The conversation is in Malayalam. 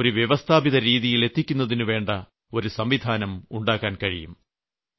ഒരു വ്യവസ്ഥാപിത രീതിയിൽ എത്തിക്കുന്നതിനുവേണ്ട ഒരു സംവിധാനം ഉണ്ടാക്കാൻ കഴിയും